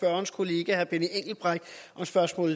spørgsmålet